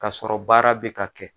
Kasɔrɔ baara bɛ ka kɛ.